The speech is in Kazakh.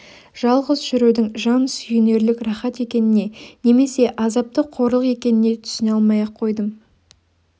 жалғыз жүрудің жан сүйінерлік рақат екеніне немесе азапты қорлық екеніне түсіне алмай-ақ қойдым